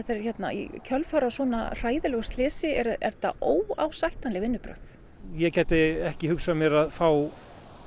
í kjölfarið á svona hræðilegu slysi eru þetta óásættanleg vinnubrögð ég gæti ekki hugsað mér að fá